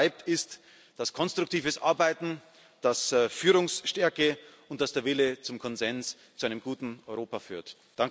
Was bleibt, ist, dass konstruktives Arbeiten, dass Führungsstärke und dass der Wille zum Konsens zu einem guten Europa